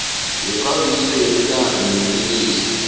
wekambiso yemilandu wobulelesi